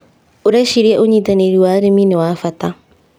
ũreciria ũnyitanĩrĩ wa arĩmi nĩ wa bata.